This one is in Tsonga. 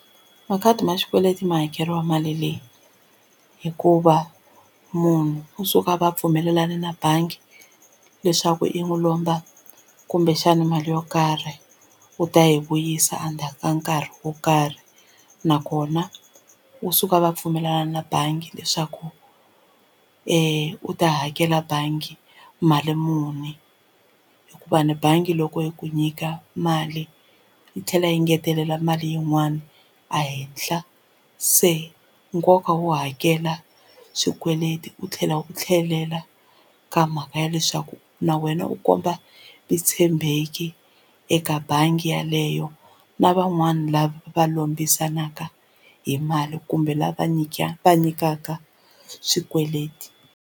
Makhadi ma xikweleti ma hakeriwa mali leyi hikuva munhu u suka a va pfumelelane na bangi leswaku yi n'wi lomba kumbexana mali yo karhi u ta yi vuyisa endzhaku ka nkarhi wo karhi nakona u suka a va pfumelana na bangi leswaku u ta hakela bangi mali muni hikuva ni bangi loko yi ku nyika mali yi tlhela yi ngetelela mali yin'wani a henhla se nkoka wo hakela swikweleti u tlhela u tlhelela ka mhaka ya leswaku na wena u komba vutshembeki eka bangi yeleyo na van'wani lava va lombisanaka hi mali kumbe lava va nyikaka swikweleti.